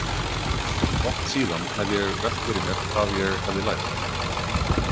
Oft síðan hef ég velt fyrir mér hvað ég hefði lært.